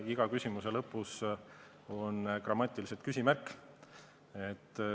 Iga küsimuse lõpus on grammatiliselt küsimärk.